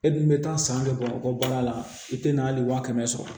E dun bɛ taa san bɛ bamakɔ baara la i tɛ na hali wa kɛmɛ sɔrɔ